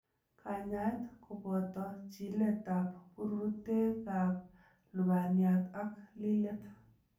Kanyaet koboto chiletab bururetab lubaniat ak lilet.